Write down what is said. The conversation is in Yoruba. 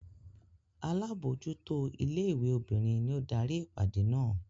Alábòójútó ilé-ìwé obìnrin ni ó darí ìpàdé náà.